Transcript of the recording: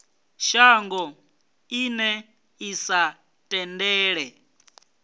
shango ḽine ḽi sa tendele